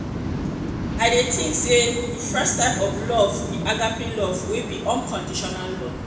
i dey think say di first type of love be agape love wey be unconditional love.